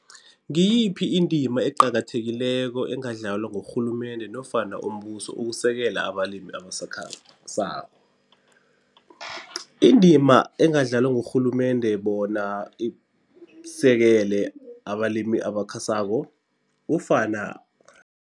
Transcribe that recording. Ngiyiphi indima eqakathekileko engadlalwa ngurhulumende nofana umbuso ukusekela abalimi abasakhasako? Indima engadlalwa ngurhulumende bona isekele abalimi abakhasako kufana